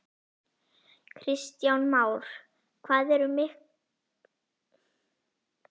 Kristján Már: Hvað ertu með mikinn mannskap núna?